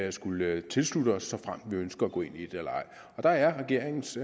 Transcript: at skulle tilslutte os såfremt vi ønsker at gå ind i det og der er regeringens